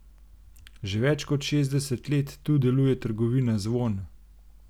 Že več kot šestdeset let tu deluje trgovina Zvon.